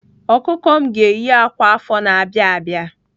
Ọkụkọ m ga-eyi akwa afọ na-abịa abịa.